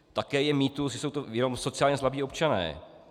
Také je mýtus, že jsou to jenom sociálně slabí občané.